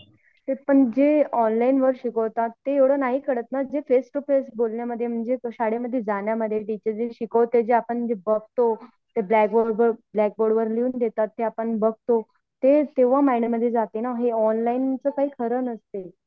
पण जे ऑनलाईन वर शिकवतात ते एवढ नाही कळत ना जे फेस टू फेस बोलण्यामध्ये म्हणजे शाळेमध्ये जाण्यामधे टीचर जे शिकावते आपण जे बघतो ते ब्लॅकबोर्ड वर बघतो तेव्हा माइंड मधे जाते ना हे ऑनलाईन चा काय खरं नसते